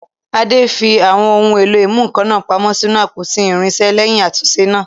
Ade fi àwọn ohun èlò ìmúnǹkan náà pamọ́ sínú àpótí irinṣẹ́ lẹ́yìn àtúnṣe náà.